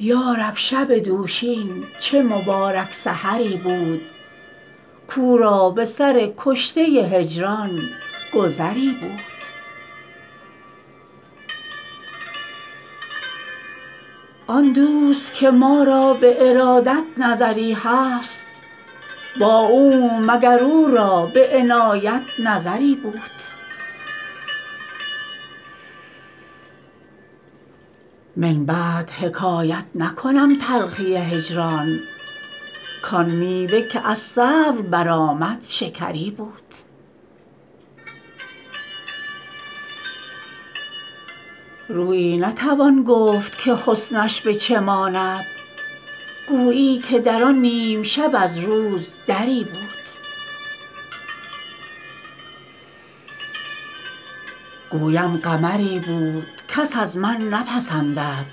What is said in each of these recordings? یا رب شب دوشین چه مبارک سحری بود کاو را به سر کشته هجران گذری بود آن دوست که ما را به ارادت نظری هست با او مگر او را به عنایت نظری بود من بعد حکایت نکنم تلخی هجران کآن میوه که از صبر برآمد شکری بود رویی نتوان گفت که حسنش به چه ماند گویی که در آن نیم شب از روز دری بود گویم قمری بود کس از من نپسندد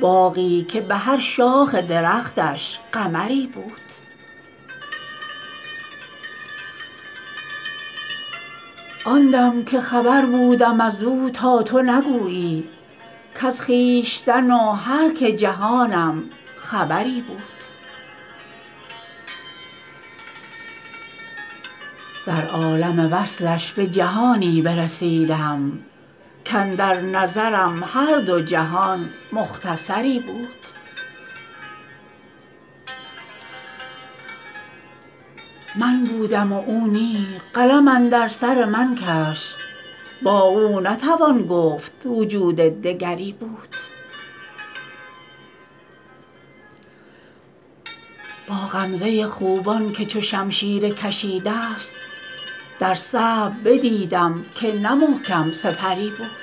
باغی که به هر شاخ درختش قمری بود آن دم که خبر بودم از او تا تو نگویی کز خویشتن و هر که جهانم خبری بود در عالم وصفش به جهانی برسیدم کاندر نظرم هر دو جهان مختصری بود من بودم و او نی قلم اندر سر من کش با او نتوان گفت وجود دگری بود با غمزه خوبان که چو شمشیر کشیده ست در صبر بدیدم که نه محکم سپری بود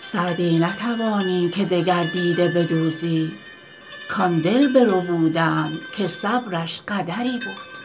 سعدی نتوانی که دگر دیده بدوزی کآن دل بربودند که صبرش قدری بود